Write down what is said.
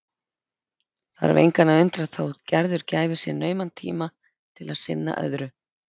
Þarf engan að undra þótt Gerður gæfi sér nauman tíma til að sinna öðru.